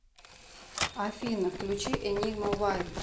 афина включи энигма вай